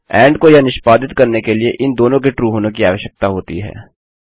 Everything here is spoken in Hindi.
एंड को यह निष्पादित करने के लिए इन दोनों के ट्रू होने कि आवश्यकता होती है